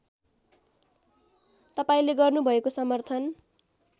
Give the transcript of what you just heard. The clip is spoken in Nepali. तपाईँले गर्नुभएको समर्थन